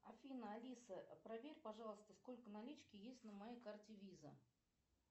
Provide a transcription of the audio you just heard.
афина алиса проверь пожалуйста сколько налички есть на моей карте виза